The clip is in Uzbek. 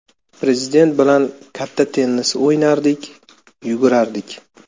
Prezident bilan katta tennis o‘ynardik, yugurardik.